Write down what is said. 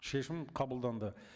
шешім қабылданды